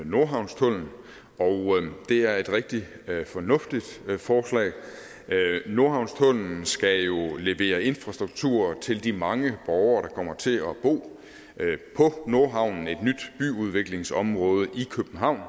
nordhavnstunnel og det er et rigtig fornuftigt forslag nordhavnstunnellen skal jo levere infrastruktur til de mange borgere der kommer til at bo i nordhavn et nyt byudviklingsområde i københavn